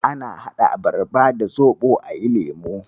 Ana haɗa abarba da zoɓo ayi lemo.